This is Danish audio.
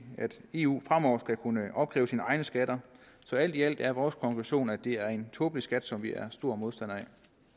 at eu fremover skal kunne opkræve sine egne skatter så alt i alt er vores konklusion at det er en tåbelig skat som vi er stor modstander af